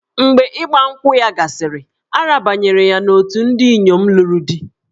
Mgbe Ịgba nkwụ ya gasịrị, a rabanyere ya n'òtù ndị inyom lụrụ di.